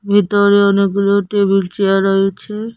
ভিতরে অনেকগুলো table chair রয়েছে।